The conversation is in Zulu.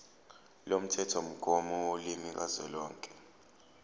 lomthethomgomo wolimi kazwelonke